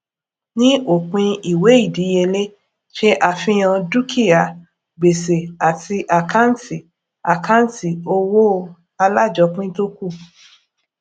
ní òpin ìwé ìdíyelé ṣe àfihàn dúkìá gbèsè àti àkâǹtì àkâǹtì owó alájọpín tó kù